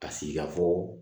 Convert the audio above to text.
Ka sigikafɔ